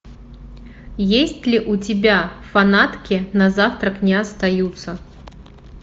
есть ли у тебя фанатки на завтрак не остаются